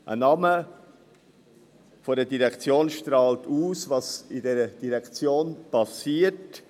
Der Name einer Direktion strahlt aus, was in dieser Direktion passiert.